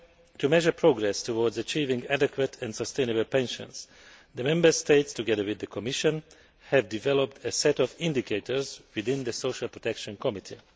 To measure progress towards achieving adequate and sustainable pensions, the Member States, together with the Commission, have developed a set of indicators within the Social Protection Committee.